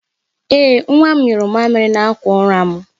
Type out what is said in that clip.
Ee, nwa m nyụrụ mamịrị n'akwa ụra m.